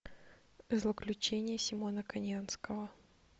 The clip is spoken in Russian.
злоключения симона конианского